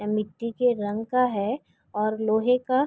ए मिट्टी के रंग का है और लोहे का --